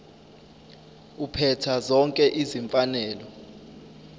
uphetha zonke izimfanelo